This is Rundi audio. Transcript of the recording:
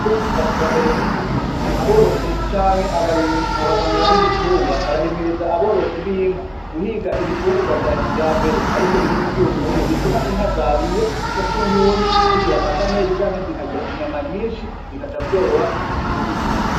Borozi ba kija mbere b'iki gihe aborozi canke abaganga b'ibitungwa barahimiriza aborozi b'inka guhiga ibifungurwa vya kija mbere ari vyo birimwe ivyunyunyu bituma inka zariya ico c'unyunyu zigira amata menshi canke zikagira inyama nyinshi bikaca vyoroha kuzitunga.